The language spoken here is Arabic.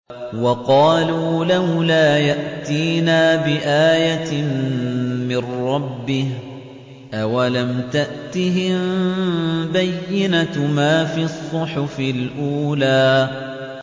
وَقَالُوا لَوْلَا يَأْتِينَا بِآيَةٍ مِّن رَّبِّهِ ۚ أَوَلَمْ تَأْتِهِم بَيِّنَةُ مَا فِي الصُّحُفِ الْأُولَىٰ